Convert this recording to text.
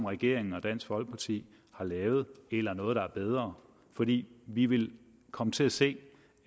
regering og dansk folkeparti havde lavet eller noget der er bedre fordi vi vil komme til at se